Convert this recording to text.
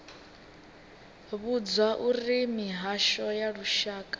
vhudzwa uri mihasho ya lushaka